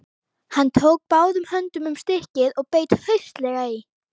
Hann tók báðum höndum um stykkið og beit hraustlega í.